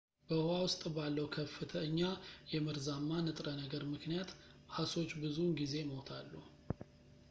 በውኃ ውስጥ ባለው ከፍተኛ የመርዛማ ንጥረ ነገር ምክንያት ዓሦች ብዙውን ጊዜ ይሞታሉ